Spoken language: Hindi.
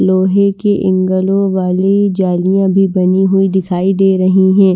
लोहे के ऐंगल वाली जालियां भी बनी हुई दिखाई दे रही हैं।